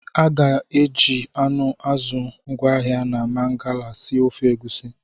A ga-eji anụ, azụ ngwaahịa na Mangala sie ofe Egusi